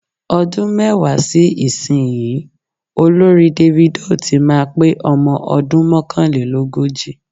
Ọdún mẹ́wàá sí ìsinyìí, olórin Davido tí máa pé ọmọ ọdún mọ́kànlélógójì.